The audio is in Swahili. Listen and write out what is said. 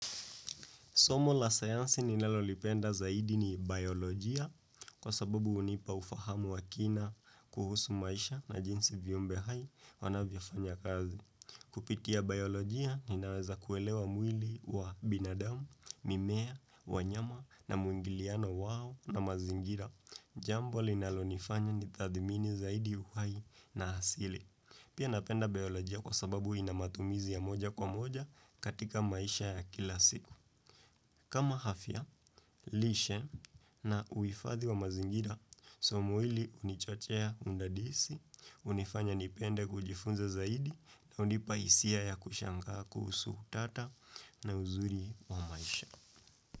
Somo la sayansi ninalolipenda zaidi ni biolojia kwa sababu hunipa ufahamu wa kina kuhusu maisha na jinsi viumbe hai wanavyofanya kazi. Kupitia biolojia ninaweza kuelewa mwili wa binadamu, mimea, wanyama na muingiliano wao na mazingira. Jambo linalonifanya nitathimini zaidi uhai na hasili. Pia napenda biolojia kwa sababu inamatumizi ya moja kwa moja katika maisha ya kila siku. Kama hafya, lishe na uifadhi wa mazingira, somo hili hunichochea hunidadisi, hunifanya nipende kujifunza zaidi na hunipa hisia ya kushangaa kuhusu utata na uzuri wa maisha.